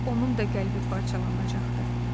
Onun da qəlbi parçalanacaqdı.